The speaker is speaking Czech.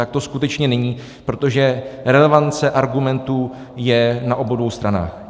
Tak to skutečně není, protože relevance argumentů je na obou dvou stranách.